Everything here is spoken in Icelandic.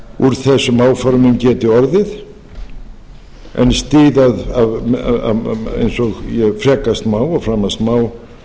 að úr þessum áformum gæti orðið en styð eins og ég frekat má eða framast má